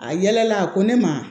A yɛlɛla a ko ne ma